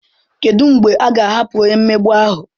Kedu mgbe a ga-ahapụ onye mmegbu ahụ?